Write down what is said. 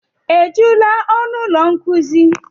Ejula ọnụ ụlọ nkuzi?